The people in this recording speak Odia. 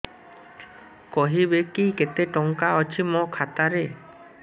କହିବେକି କେତେ ଟଙ୍କା ଅଛି ମୋ ଖାତା ରେ